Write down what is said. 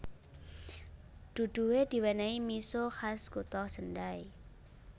Duduhe diwenehi miso khas kutha Sendai